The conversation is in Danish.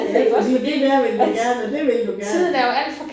Ja fordi det der vil du gerne og det vil du gerne